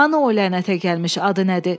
Hanı o lənətə gəlmiş, adı nədir?